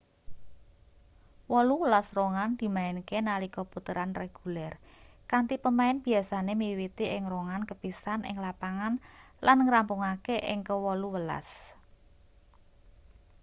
wolu welas rongan dimainke nalika puteran reguler kanthi pemain biasane miwiti ing rongan kepisan ing lapangan lan ngrampungake ing ke wolu welas